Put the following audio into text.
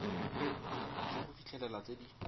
ke go fitlhelela tse di